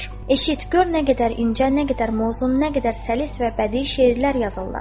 "Eşit, gör nə qədər incə, nə qədər mövzun, nə qədər səlis və bədii şeirlər yazırlar."